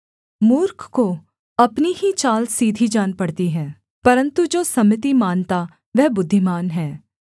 मूर्ख को अपनी ही चाल सीधी जान पड़ती है परन्तु जो सम्मति मानता वह बुद्धिमान है